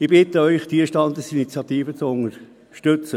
Ich bitte Sie, diese Standesinitiative zu unterstützen.